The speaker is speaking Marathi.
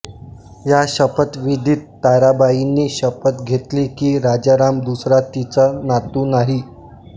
या शपथविधीत ताराबाईंनीही शपथ घेतली की राजाराम दुसरा तिचा नातू नाही